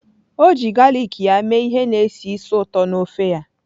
O ji galik ya mee ihe na-esi ísì ụtọ na ofe ya.